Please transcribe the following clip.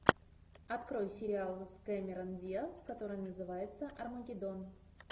открой сериал с кэмерон диаз который называется армагеддон